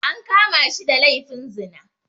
An kama shi da laifin zina